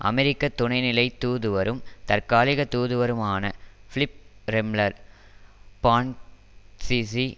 அமெரிக்க துணைநிலைத் தூதுவரும் தற்காலிக தூதுவருமான பிலிப் ரெம்லர் பான்க்கிசி